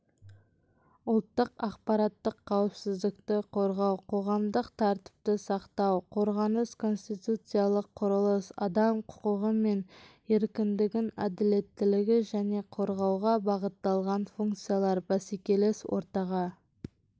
ұлттық ақпараттық қауіпсіздікті қорғау қоғамдық тәртіпті сақтау қорғаныс конституциялық құрылыс адам құқығы мен еркіндігін әділеттілікті және қорғауға бағытталған функциялар бәсекелес ортаға